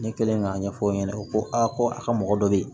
Ne kɛlen k'a ɲɛfɔ o ɲɛna o ko a ko a ka mɔgɔ dɔ bɛ yen